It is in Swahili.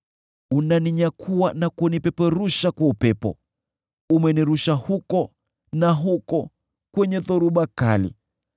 Unaninyakua na kunipeperusha kwa upepo; umenirusha huku na huko kwenye dhoruba kali.